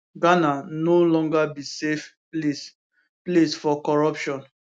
ghana no longer be safe place place for corruption